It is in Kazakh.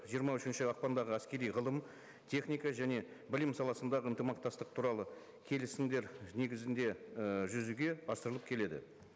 жиырма үшінші ақпандағы әскери ғылым техника және білім саласындағы ынтымақтастық туралы келісімдер негізінде ы жүзеге асырылып келеді